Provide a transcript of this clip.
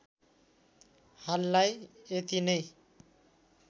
हाललाई यति नै